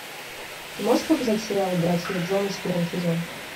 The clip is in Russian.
ты можешь показать сериал братья джонас первый сезон